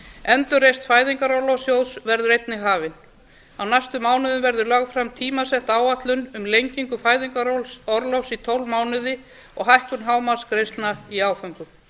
endurreisn fæðingarorlofssjóðs verður einnig hafin á næstu mánuðum verður sett fram tímasett áætlun um lengingu fæðingarorlofs í tólf mánuði og hækkun hámarksgreiðslna í áföngum